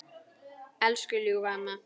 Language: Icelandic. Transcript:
Elsku ljúfa amma.